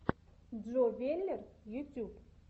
джо веллер ютюб